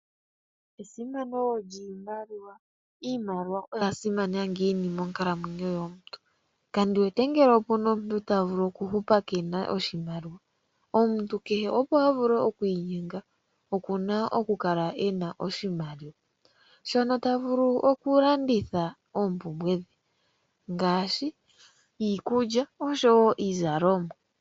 Esimano lyiimaliwa Iimaliwa oya simana ngiini monkalamwenyo yomuntu? Kandi wete ngele opuna omuntu ta vulu oku keena oshimaliwa. Omuntu kehe , opo a vule oku inyenga, oku na oku kala e na oshimaliwa, shono ta vulu oku landitha oompumbwe dhe ngaashi iikulya noshowo iizalomwa.